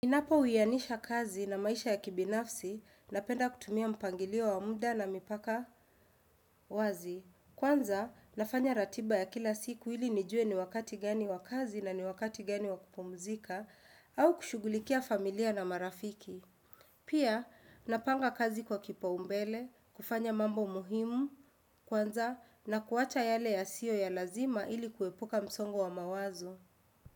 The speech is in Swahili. Inapo uyanisha kazi na maisha ya kibinafsi napenda kutumia mpangilio wa muda na mipaka wazi. Kwanza, nafanya ratiba ya kila siku ili nijue ni wakati gani wa kazi na ni wakati gani wa kupumzika au kushugulikia familia na marafiki. Pia, napanga kazi kwa kipaumbele, kufanya mambo muhimu, kwanza, na kuwacha yale yasiyo ya lazima ili kuepuka msongo wa mawazo.